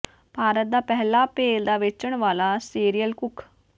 ਭਾਰਤ ਦਾ ਪਹਿਲਾ ਭੇਲ ਦਾ ਵੇਚਣ ਵਾਲਾ ਸ਼ੇਅਰਲ ਕੁੱਕ